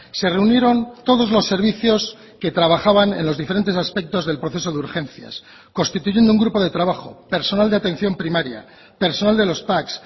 se reunieron todos los servicios que trabajaban en los diferentes aspectos del proceso de urgencias constituyendo un grupo de trabajo personal de atención primaria personal de los pac